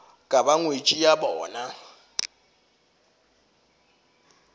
ka ba ngwetši ya bona